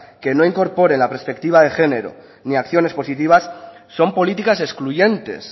que no incorporen la perspectiva de género ni acciones positivas son políticas excluyentes